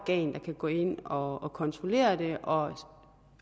kan gå ind og og kontrollere det og